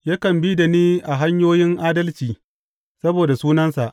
Yakan bi da ni a hanyoyin adalci saboda sunansa.